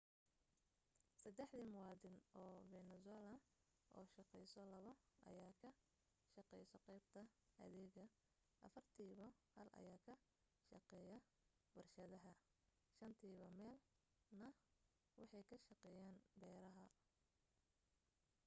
saddexdi muwaddin oo venezuela oo shaqayso labo ayaa ka shaqayso qaybta adeega afartiiba hal ayaa ka shaqeeyaa warshadaha shantiiba meel na waxay ka shaqeeyaan beeraha